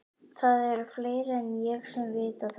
Það eru fleiri en ég sem vita þetta.